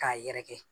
K'a yɛrɛkɛ